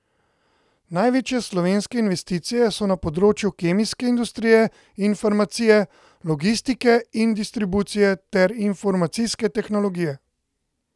Največje slovenske investicije so na področju kemijske industrije in farmacije, logistike in distribucije ter informacijske tehnologije.